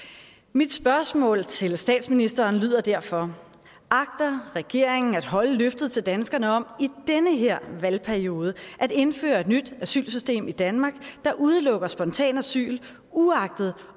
mit spørgsmål til statsministeren lyder derfor agter regeringen at holde løftet til danskerne om i den her valgperiode at indføre et nyt asylsystem i danmark der udelukker spontant asyl uagtet